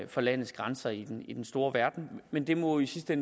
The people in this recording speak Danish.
for landets grænser i den i den store verden men det må i sidste